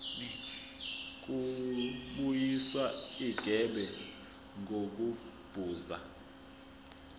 kubuyiswa igebe ngokubuza